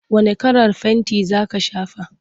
Wane kalar fenti za ka shafa?